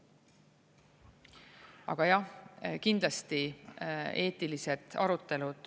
Aga jah, kindlasti eetilised arutelud …